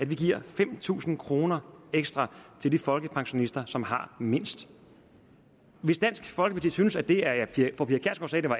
vi giver fem tusind kroner ekstra til de folkepensionister som har mindst hvis dansk folkeparti synes at det er